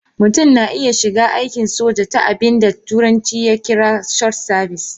Mutum na iya shiga aikin soja ta abin da turanci ya kira short service.